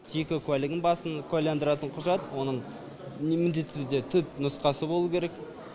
жеке куәлігін басын куәландыратын құжат оның міндетті түрде түпнұсқасы болуы керек